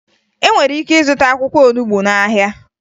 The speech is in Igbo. E nwere ike ịzụta akwụkwọ olubo n'ahịa